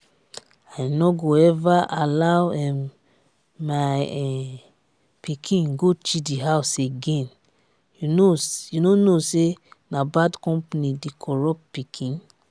i no go ever allow um my um pikin go chidi house again you no know say bad company dey corrupt pikin?